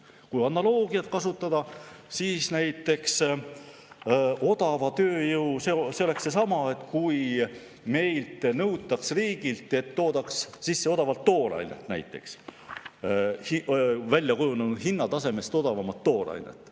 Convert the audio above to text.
Kui analoogiat kasutada, siis näiteks odava tööjõu oleks seesama, kui meie riigilt nõutaks, et toodaks sisse odavat toorainet, väljakujunenud hinnatasemest odavamat toorainet.